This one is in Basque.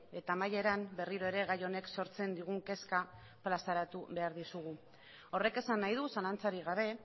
eta amaieran berriro ere gai honek sortzen digun kezka plazaratu behar dizugu horrek esan nahi du zalantzarik gabe